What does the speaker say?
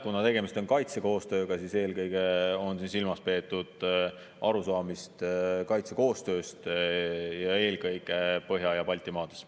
Kuna tegemist on kaitsekoostööga, siis eelkõige on silmas peetud arusaamist kaitsekoostööst ja eelkõige Põhja‑ ja Baltimaades.